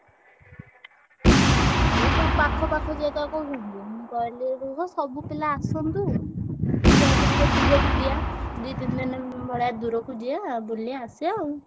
ଏଇ ସବୁ ପାଖ ପାଖ ଜାଗା କହୁଛନ୍ତି। ମୁଁ କହିଲି ରୁହ ସବୁ ପିଲା ଆସନ୍ତୁ। ଯାଇକି ଟିକେ ଦୁରକୁ ଯିବା। ଦି ତିନି ଭଳିଆ ଦୂରକୁ ଯିବା ବୁଲିଆ ଆସିଆ ଆଉ।